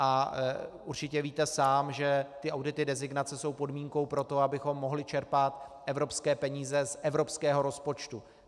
A určitě víte sám, že ty audity designace jsou podmínkou pro to, abychom mohli čerpat evropské peníze z evropského rozpočtu.